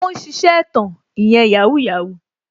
Ó ń ṣiṣẹ́ ẹ̀tàn ìyẹn "Yahoo Yahoo"